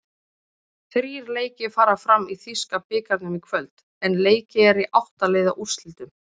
Þrír leikir fara fram í þýska bikarnum í kvöld, en leikið er í átta-liða úrslitum.